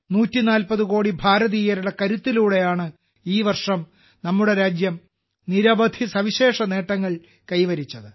140 കോടി ഭാരതീയരുടെ കരുത്തിലൂടെയാണ് ഈ വർഷം നമ്മുടെ രാജ്യം നിരവധി സവിശേഷ നേട്ടങ്ങൾ കൈവരിച്ചത്